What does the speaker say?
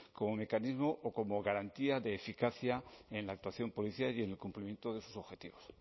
como mecanismo o como garantía de eficacia en la actuación policial y en el cumplimiento de sus objetivos